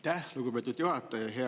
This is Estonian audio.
Aitäh, lugupeetud juhataja!